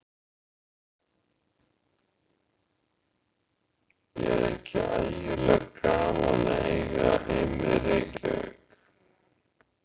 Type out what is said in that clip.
Er ekki ægilega gaman að eiga heima í Reykjavík?